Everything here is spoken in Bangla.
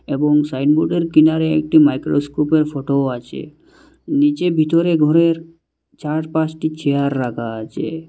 এবং সাইনবোর্ডের কিনারে একটি মাইক্রোস্কোপের ফোটোও আছে নীচে ভিতরে ঘরের চার পাশটি চেয়ার রাখা আছে।